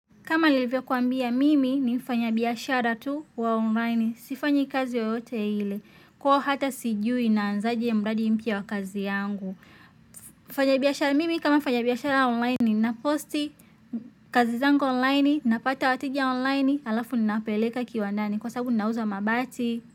Kama nilivyokuambia mimi ni mfanyabiashara tu wa online. Sifanyi kazi yoyote ile. Ko hata sijui naanzaje mradi mpya wa kazi yangu. Mfanyabiashara mimi kama mfanyabiashara wa online napost kazi zangu online. Napata wateja online alafu ninapeleka kiwandani. Kwa sabu ninauza mabati.